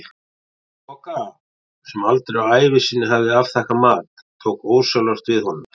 Bogga, sem aldrei á ævi sinni hafði afþakkað mat, tók ósjálfrátt við honum.